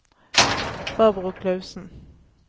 Barbro Clausen